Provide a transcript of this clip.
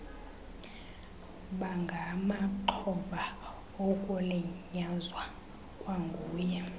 bangamaxhoba okulinyazwa kwanguye